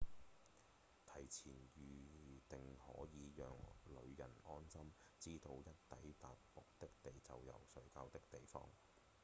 提前預訂可以讓旅人安心知道一抵達目的地就有睡覺的地方